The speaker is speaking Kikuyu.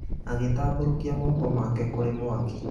Agĩtambũrũkia moko make kũrĩ mwaki.